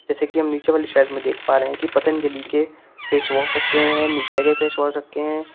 जैसे कि हम नीचे वाली शेल्फ में देख पा रहे हैं कि पतंजलि के फेस वॉश रखे हुए हैं निविया के फेस वॉश रखे हैं।